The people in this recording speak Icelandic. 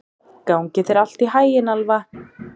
Gangi þér allt í haginn, Alfa.